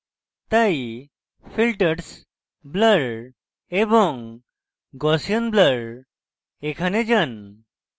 তাই filters blur এবং gaussian blur এ যান